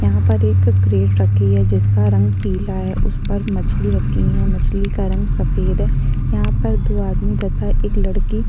यहाँ पर एक क्रेट रखी है जिसका रंग पीला है उस पर मछली रखी है मछली का रंग सफेद है यहाँ पर दो आदमी तथा एक लड़की --